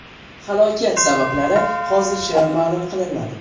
Halokat sabablari hozircha ma’lum qilinmadi.